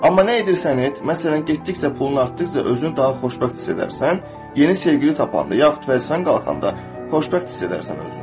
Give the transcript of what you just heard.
Amma nə edirsən et, məsələn, getdikcə pulun artdıqca özünü daha xoşbəxt hiss edərsən, yeni sevgili tapanda yaxud vəzifən qalxanda xoşbəxt hiss edərsən özünü.